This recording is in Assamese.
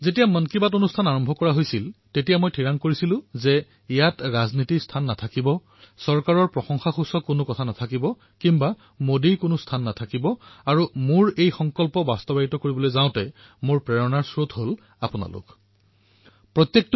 যেতিয়া মন কী বাত আৰম্ভ কৰিছিলো তেতিয়া মই সিদ্ধান্ত গ্ৰহণ কৰিছিলো ইয়াত ৰাজনীতি নাথাকিব ইয়াত চৰকাৰক বাহ বাহ কৰা নহব ইয়াত কোনো মোদী নাথাকিব আৰু মোৰ এই সংকল্প পালন কৰাৰ সবাতোকৈ বৃহৎ সম্বল সকলোতকৈ অধিক প্ৰেৰণা পালো আপোনালোক সকলোৰে পৰা